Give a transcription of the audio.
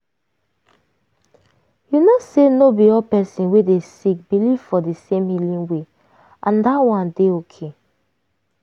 you know say no be all person wey dey sick believe for di same healing way and that one dey ok.